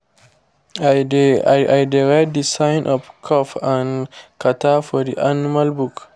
i dey i dey write the sign of cough and catarrh for the animal book